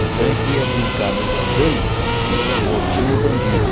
Então a gente ia brincar nos andaimes de mocinho e bandido.